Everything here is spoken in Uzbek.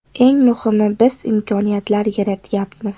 Eng muhimi biz imkoniyatlar yaratyapmiz.